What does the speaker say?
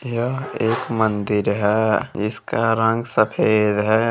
यह एक मंदिर है इसका रंग सफ़ेद है।